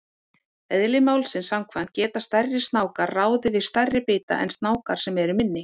Eðli málsins samkvæmt geta stærri snákar ráðið við stærri bita en snákar sem eru minni.